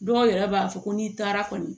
Dɔw yɛrɛ b'a fɔ ko n'i taara kɔni